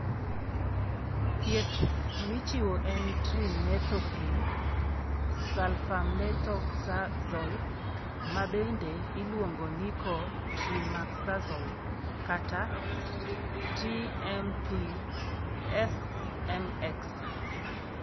Thieth michiwo en trimethoprim sulfamethoxazole (ma bende iluongo ni co trimoxazole, kata TMP SMX).